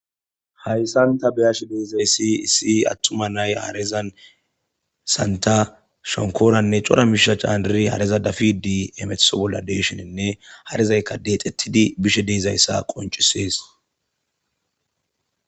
hayssan ta beyashe de'izayssi issi attuma nay harezan santha shonkoranne cora miishaa candiri hareza dafidi emeteso bolla deeshenenne harezayka deexettidi bishe de'izayssa qoncisees